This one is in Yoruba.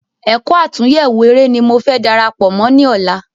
Ẹ̀kọ́ àtúnyẹwò eré ní mo fẹ́ darapọ Mọ ní ọ̀la